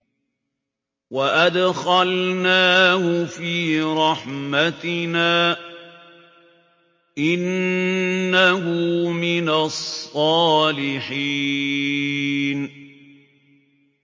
وَأَدْخَلْنَاهُ فِي رَحْمَتِنَا ۖ إِنَّهُ مِنَ الصَّالِحِينَ